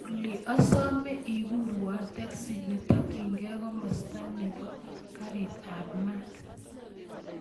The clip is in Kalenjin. Olly asome ikurwon teksi netokyingei komasta nebo karit ab maat